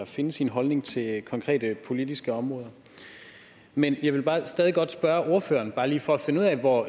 finde sin holdning til konkrete politiske områder men jeg vil stadig godt spørge ordføreren bare lige for at finde ud af hvor